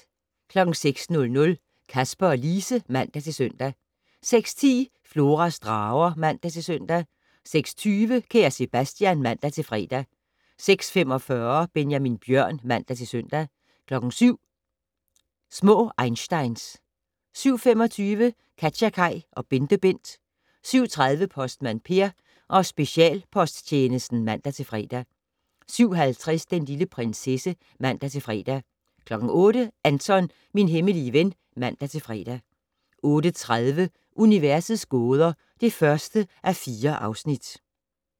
06:00: Kasper og Lise (man-søn) 06:10: Floras drager (man-søn) 06:20: Kære Sebastian (man-fre) 06:45: Benjamin Bjørn (man-søn) 07:00: Små einsteins 07:25: KatjaKaj og BenteBent 07:30: Postmand Per: Specialposttjenesten (man-fre) 07:50: Den lille prinsesse (man-fre) 08:00: Anton - min hemmelige ven (man-fre) 08:30: Universets gåder (1:4)